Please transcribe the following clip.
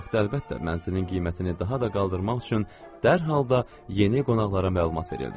Bu haqda əlbəttə mənzilin qiymətini daha da qaldırmaq üçün dərhal da yeni qonaqlara məlumat verildi.